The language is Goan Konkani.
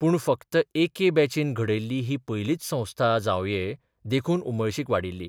पूण फक्त एके बॅचीन घडयल्ली ही पयलीच संस्था जांवये देखून उमळशीक वाडिल्ली.